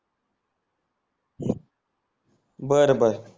बर बर